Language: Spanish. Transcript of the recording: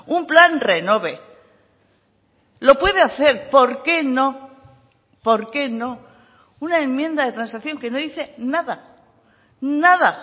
un plan renove lo puede hacer por qué no por qué no una enmienda de transacción que no dice nada nada